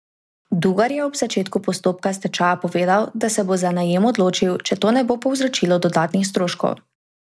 Dugar je ob začetku postopka stečaja povedal, da se bo za najem odločil, če to ne bo povzročilo dodatnih stroškov.